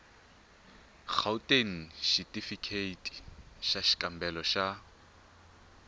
gauteng xitifikheyiti xa xikambelo xa